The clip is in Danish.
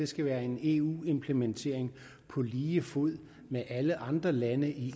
skal være en eu implementering på lige fod med implementeringen i alle andre lande i